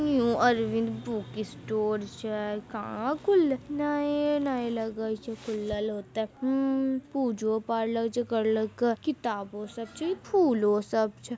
New Arvind book store छै कहा खुलले नए-नए लगय छै खुलल होते हूं पूजो पार्लर छै करलके किताबो सब छै इ फूलो सब छै।